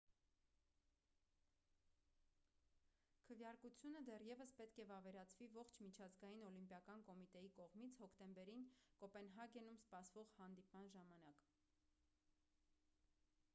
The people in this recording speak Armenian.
քվեարկությունը դեռևս պետք է վավերացվի ողջ միջազգային օլիմպիական կոմիտեի կողմից հոկտեմբերին կոպենհագենում սպասվող հանդիպման ժամանակ